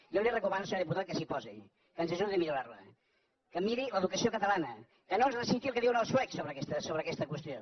jo li recomano senyor diputat que s’hi posi que ens ajudi a millorar la que miri l’educació catalana que no ens reciti el que diuen els suecs sobre aquesta qüestió